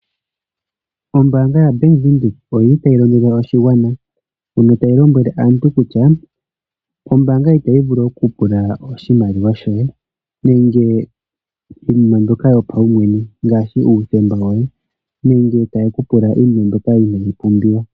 Ombanga yaBank Windhoek oyili tayi londodha oshigwana mono tayi lombwele aantu kutya ombanga itayi vulu oku pula oshimaliwa shoye nenge iinima mbyoka yopawumwene ngaashi uuthemba woye nenge taye ku pula iinima mbyoka inayi pumbiwa.